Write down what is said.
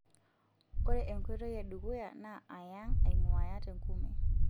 Ore enkoitoi e dukuya naa ayang',ainguaya tenkume.